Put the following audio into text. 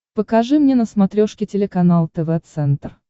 покажи мне на смотрешке телеканал тв центр